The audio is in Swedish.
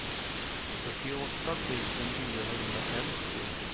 fyrtioåtta tusen niohundrafemtio